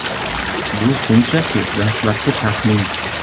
Bu shunchaki dastlabki taxmin.